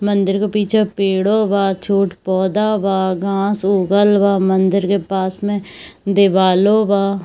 मंदिर के पीछे पेड़ो बा छोट पौधा बा घास उगल बा मंदिर के पास मे दीवालों बा --